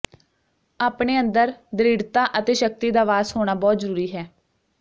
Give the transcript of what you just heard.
ਅਪਣੇ ਅੰਦਰ ਦ੍ਰਿੜਤਾ ਅਤੇ ਸ਼ਕਤੀ ਦਾ ਵਾਸ ਹੋਣਾ ਬਹੁਤ ਜ਼ਰੂਰੀ ਹੈ